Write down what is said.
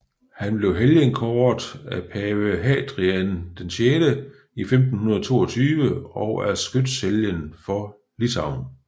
Han blev helgenkåret af pave Hadrian VI i 1522 og er skytshelgen for Litauen